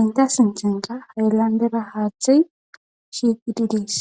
enta sincenqa ha7landera haaththey shiiqidi dees